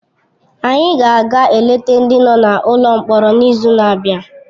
Anyị ga-aga eleta ndị nọ n’ụlọ mkpọrọ n’izu na-abịa.